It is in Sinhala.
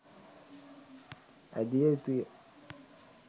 ඇඳිය යුතුය.